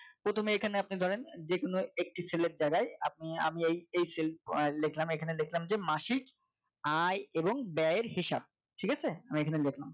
প্রথমে এইখানে আপনি ধরেন যেকোনো একটি ছেলের জায়গায় আপনি আমি এই এই self আহ লিখলাম এখানে লিখলাম যে মাসিক আয় এবং ব্যয়ের হিসাব ঠিক আছে আমি এখানে লেখলাম